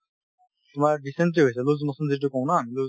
তোমাৰ dysentery হৈছে loose motion যিটো কওঁ ন আমি loose